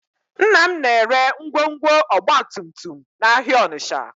Nna m na-ere ngwongwo ọgbatumtum n'ahịa Ọnịcha